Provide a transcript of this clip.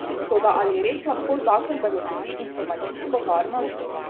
Toda ali res lahko zakon zagotovi informacijsko varnost?